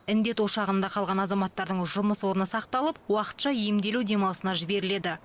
індет ошағында қалған азаматтардың жұмыс орны сақталып уақытша емделу демалысына жіберіледі